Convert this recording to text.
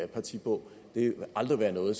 partiprogram vil det aldrig være noget